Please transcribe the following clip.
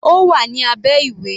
Ó wà ní abẹ́ ìwé.